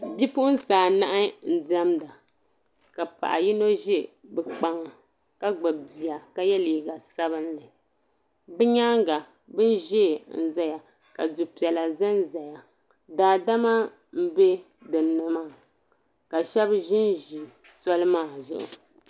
Bipuɣinsi anahi n-diɛmda ka paɣ' yino za bɛ kpaŋa ka gbibi bia ka ye liiga sabilinli. Bɛ nyaaŋga bini ʒee n-zaya ka du' piɛla zanzaya. Daadama m-be dinni maa ka shɛba ʒinʒi soli maa zuɣu.